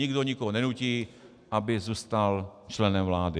Nikdo nikoho nenutí, aby zůstal členem vlády.